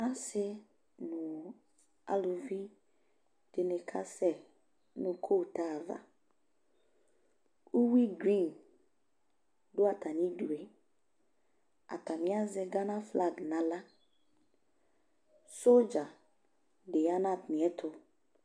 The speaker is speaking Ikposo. ɔse no aluvi di ni ka sɛ no kota ava uwi grin do atami du atani azɛ Ghana flag no ala sodza di ya no atamiɛto